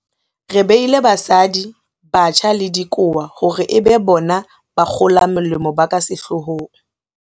Re beile basadi, batjha le dikowa hore e be bona bakgolamolemo ba ka sehlohong.